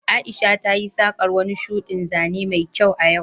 Aisha tayi saƙar wani shuɗin zane mai kyau a yau